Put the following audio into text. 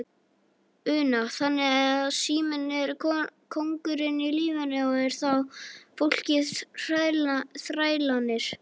Una: Þannig að síminn er kóngurinn í lífinu og er þá fólkið þrælarnir?